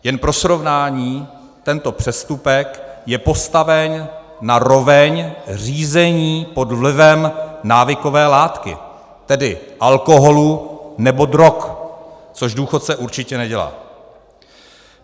Jen pro srovnání, tento přestupek je postaven na roveň řízení pod vlivem návykové látky, tedy alkoholu nebo drog, což důchodce určitě nedělá.